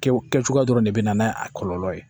Kɛw kɛ cogoya dɔrɔn de bɛ na n'a kɔlɔlɔ ye